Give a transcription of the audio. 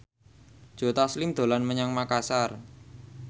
Joe Taslim dolan menyang Makasar